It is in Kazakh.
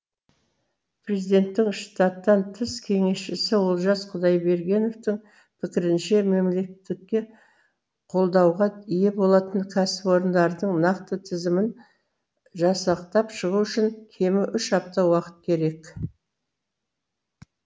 президенттің штаттан тыс кеңесшісі олжас құдайбергеновтің пікірінше мемлекеттікке қолдауға ие болатын кәісіпорындардың нақты тізімін жасақтап шығу үшін кемі үш апта уақыт керек